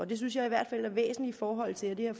det synes jeg i hvert fald er væsentligt i forhold til at det her